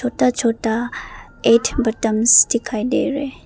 छोटा छोटा एज विटामिन्स दिखाई दे रहे हैं।